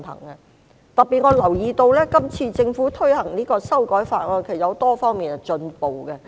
我特別留意到今次政府推行這項修訂法案，其實有多方面的進步。